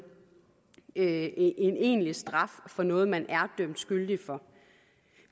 en egentlig straf for noget man er dømt skyldig i